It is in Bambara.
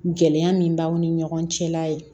Gɛlɛya min b'aw ni ɲɔgɔn cɛla ye